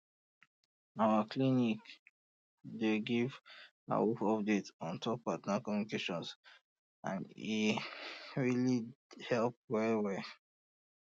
our clinic dey give awoof update on top partner communication and e really dey help well well